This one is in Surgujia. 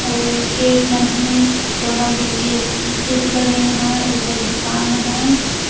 ओ गेट मन हे लोहा के गे गेट लगाईन है ए जग दुकान हे।